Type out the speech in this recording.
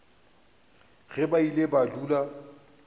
ge ba ile ba dula